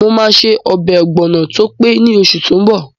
Mo máa ṣe ọbẹ̀ ọ̀gbọ̀nọ̀ tó pé ní oṣù tó n bọ̀